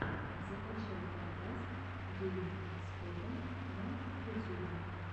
закачай подкаст гейм спота на ютюбе